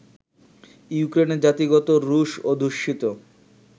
ইউক্রেনের জাতিগত রুশ অধ্যুষিত